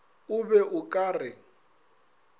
o be o ka re